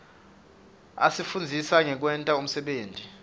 asifundzisa ngekwenta umsebenti